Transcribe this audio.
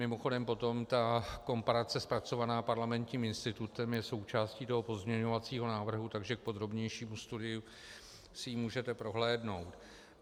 Mimochodem potom ta komparace zpracovaná Parlamentním institutem je součástí toho pozměňovacího návrhu, takže k podrobnějšímu studiu si ji můžete prohlédnout.